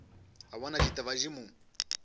a bona ditaba di mo